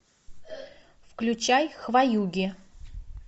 включай хваюги